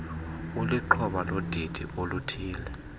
ulixhoba lodidi oluthile